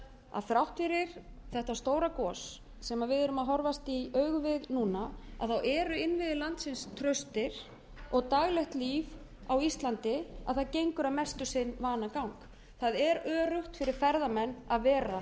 að þrátt fyrir þetta stóra gos sem við erum að horfast í augu við núna eru innviðir landsins traustir og daglegt af á íslandi gengur að mestu sinn vanagang það er öruggt fyrir ferðamenn að vera